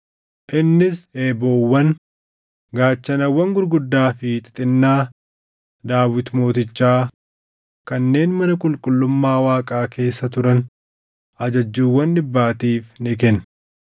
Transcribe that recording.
Innis eeboowwan, gaachanawwan gurguddaa fi xixinnaa Daawit Mootichaa kanneen mana qulqullummaa Waaqaa keessa turan ajajjuuwwan dhibbaatiif ni kenne.